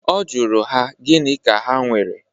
Ọ jụrụ ha gịnị ka ha nwere.